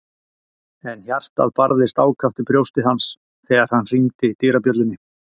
En hjartað barðist ákaft í brjósti hans þegar hann hringdi dyrabjöllunni.